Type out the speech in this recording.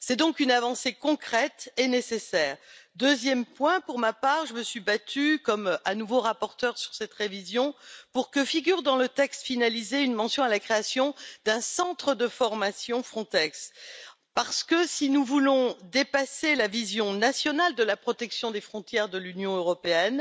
C'est donc une avancée concrète et nécessaire. Deuxième point, pour ma part, je me suis battue, de nouveau comme rapporteure sur cette révision, pour que figure dans le texte finalisé une mention à la création d'un centre de formation Frontex. En effet, si nous voulons dépasser la vision nationale de la protection des frontières de l'Union européenne